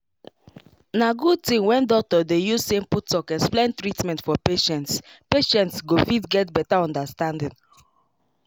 na good thing when doctor dey use simple talk explain treatment for patients patients go fit get better understanding